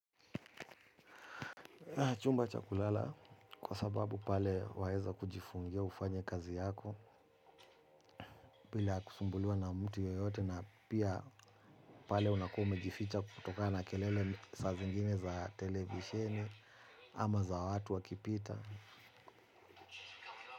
Chumba cha kulala kwa sababu pale waeza kujifungia ufanya kazi yako. Bila kusumbuliwa na mtu yoyote na pia pale unakuwa umejificha kutokana kelele saa zingine za televisheni. Ama za watu wakipita.